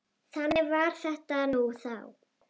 Þannig var þetta nú þá.